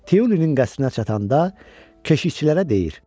Teulinin qəsrinə çatanda keşişçilərə deyir: